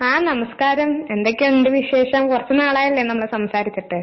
ആഹ് നമസ്കാരം, എന്തൊക്കെയുണ്ട് വിശേഷം? കൊറച്ച് നാളായില്ലേ നമ്മള് സംസാരിച്ചിട്ട്?